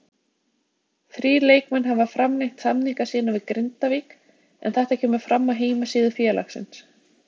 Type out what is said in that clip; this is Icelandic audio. Þrír leikmenn hafa framlengt samninga sína við Grindavík en þetta kemur fram á heimasíðu félagsins.